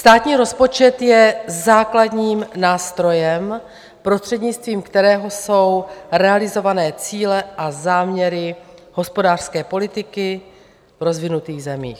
Státní rozpočet je základním nástrojem, prostřednictvím kterého jsou realizované cíle a záměry hospodářské politiky v rozvinutých zemích.